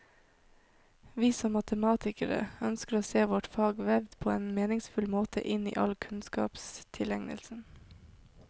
Vi, som matematikere, ønsker å se vårt fag vevd på en meningsfull måte inn i all kunnskapstilegnelse.